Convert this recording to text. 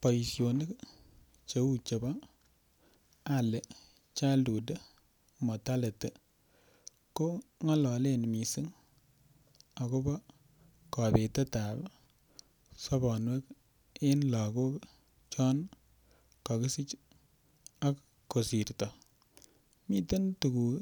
Boisionik cheu chebo Early Childhood Mortality ko ng'ololen missing akobo kobetetab sobonwek en lagok chon kokisich ak kosirto, miten tuguk